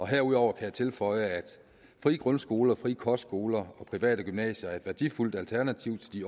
herudover kan jeg tilføje at frie grundskoler frie kostskoler og private gymnasier er et værdifuldt alternativ til de